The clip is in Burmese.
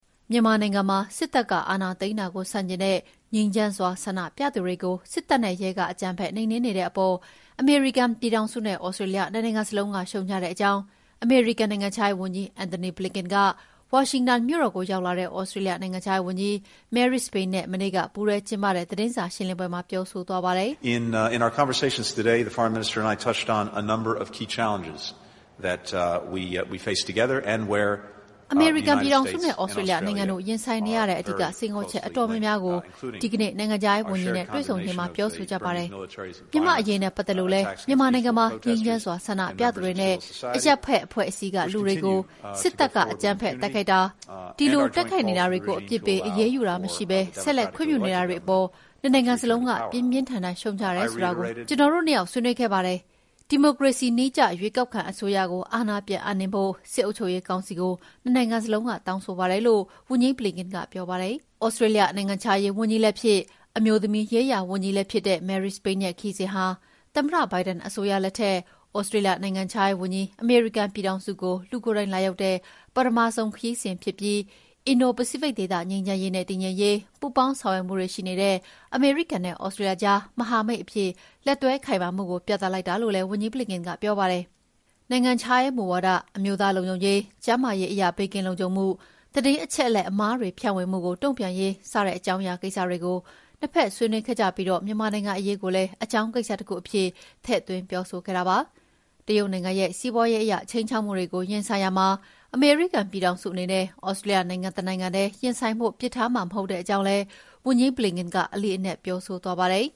မြန်မာနိုင်ငံမှာ စစ်တပ်ကအာဏာသိမ်းတာကို ဆန့်ကျင်တဲ့ ငြိမ်းချမ်းစွာ ဆန္ဒပြသူတွေကို စစ်တပ်နဲ့ရဲက အကြမ်းဖက်နှိမ်နှင်းနေတဲ့အပေါ် အမေရိကန်ပြည်ထောင်စုနဲ့ သြစတြေးလျ နှစ်နိုင်ငံစလုံးက ရှုတ်ချတဲ့အကြောင်း အမေရိကန်နိုင်ငံခြားရေးဝန်ကြီး Antony Blinken က ဝါရှင်တန်မြို့တော်ကို ရောက်လာတဲ့ သြစတြေးလျနိုင်ငံခြားရေးဝန်ကြီး Marise Payne နဲ့ မနေ့က ပူးတွဲကျင်းပတဲ့ သတင်းစာရှင်းလင်းပွဲမှာ ပြောဆိုသွားပါတယ်။ “အမေရိကန်ပြည်ထောင်စုနဲ့ သြစတြေးလျနိုင်ငံတို့ ရင်ဆိုင်နေရတဲ့ အဓိက စိန်ခေါ်မှုအတော်များများကို ဒီကနေ့ နိုင်ငံခြားရေးဝန်ကြီးနဲ့ တွေ့ဆုံချိန်မှာ ပြောဆိုကြပါတယ်။ မြန်မာ့အရေးနဲ့ပတ်သက်လို့လည်း မြန်မာနိုင်ငံမှာ ငြိမ်းချမ်းစွာ ဆန္ဒပြသူတွေနဲ့ အရပ်ဘက်အဖွဲ့အစည်းက လူတွေကို စစ်တပ်က အကြမ်းဖက်တိုက်ခိုက်တာ၊ ဒီလို တိုက်ခိုက်နေတာတွေကို အပြစ်ပေး အရေးယူတာမရှိဘဲ ဆက်လက်ခွင့်ပြုနေတာတွေအပေါ် နှစ်နိုင်ငံစလုံးက ပြင်းပြင်းထန်ထန် ရှုတ်ချတယ်ဆိုတာလည်း ကျနော်တို့ နှစ်ယောက် ဆွေးနွေးခဲ့ပါတယ်။ ဒီမိုကရေစီနည်းကျ ရွေးကောက်ခံအစိုးရကို အာဏာပြန်ပြီးအပ်နှင်းဖို့ စစ်အုပ်ချုပ်ရေးကောင်စီကို နှစ်နိုင်ငံစလုံးက တောင်းဆိုပါတယ်" လို့ ဝန်ကြီး Blinken ကပြောပါတယ်။ သြစတြေးလျ နိုင်ငံခြားရေးဝန်ကြီးလည်းဖြစ်၊ အမျိုးသမီးရေးရာဝန်ကြီးလည်းဖြစ်တဲ့ Marise Payne ရဲ့ခရီးစဉ်ဟာ သမ္မတ Biden အစိုးရလက်ထက် သြစတြေးလျ နိုင်ငံခြားရေးဝန်ကြီး အမေရိကန်ပြည်ထောင်စုကို လူကိုယ်တိုင်လာရောက်တဲ့ ပထမဆုံးခရီးစဉ်ဖြစ်ပြီး အင်ဒို ပစိဖိတ်ဒေသ ငြိမ်းချမ်းရေးနဲ့ တည်ငြိမ်ရေး ပူးပေါင်းဆောင်ရွက်မှုတွေရှိနေတဲ့ အမေရိကန်နဲ့ သြစတြေးလျအကြား မဟာမိတ်အဖြစ် လက်တွဲခိုင်မာမှုကို ပြသလိုက်တာလို့လည်း ဝန်ကြီး Blinken ကပြောပါတယ်။ နိုင်ငံခြားရေးမူဝါဒ၊ အမျိုးသားလုံခြုံရေး၊ ကျန်းမာရေးအရ ဘေးကင်းလုံခြုံမှု၊ သတင်းအချက်အလက်အမှားတွေဖြန့်ဝေမှုကို တုံ့ပြန်ရေး စတဲ့ အကြောင်းအရာကိစ္စတွေကို နှစ်ဘက် ဆွေးနွေးခဲ့ကြပြီး မြန်မာနိုင်ငံအရေးကိုလည်း အကြောင်းကိစ္စတခုအဖြစ် ထည့်သွင်းပြောဆိုခဲ့တာဖြစ်ပါတယ်။ တရုတ်နိုင်ငံရဲ့ စီးပွားရေးအရ ခြိမ်းခြောက်မှုတွေကို ရင်ဆိုင်ရာမှာ အမေရိကန်ပြည်ထောင်စုအနေနဲ့ သြစတြေးလျနိုင်ငံ တနိုင်ငံထဲ ရင်ဆိုင်ဖို့ ပစ်ထားမှာ မဟုတ်တဲ့အကြောင်းလည်း ဝန်ကြီး Blinken က အလေးအနက် ပြောဆိုသွားပါတယ်